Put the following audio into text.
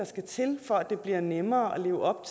skal til for at det bliver nemmere at leve op